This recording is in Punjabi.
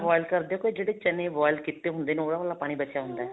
boil ਕਰਦੇ ਹੋ ਕੇ ਜਿਹੜੇ ਚਨੇ boil ਕੀਤੇ ਹੁੰਦੇ ਨੇ ਉਹਨਾ ਵਾਲਾ ਪਾਣੀ ਬਚਿਆ ਹੁੰਦਾ